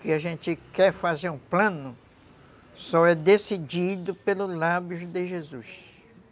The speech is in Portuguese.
Que a gente quer fazer um plano, só é decidido pelos lábios de Jesus.